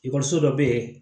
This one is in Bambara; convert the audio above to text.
Ekɔliso dɔ bɛ yen